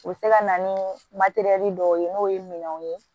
U bɛ se ka na ni dɔw ye n'o ye minɛnw ye